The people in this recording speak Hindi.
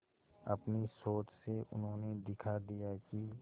अपनी सोच से उन्होंने दिखा दिया कि